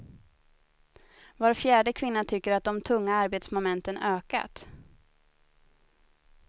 Var fjärde kvinna tycker att de tunga arbetsmomenten ökat.